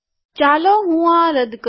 ચાલો હું આ રદ કરું